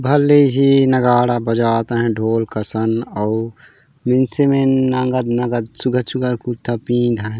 भले ही नगाड़ा बाजत है ढोल कसन औ मिनसे मीन नगद नगद चुखा चुखा कुथा पिँध है।